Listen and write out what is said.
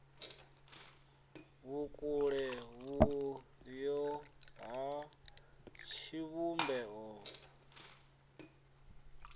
vhukule vhuyo ha tshivhumbeo u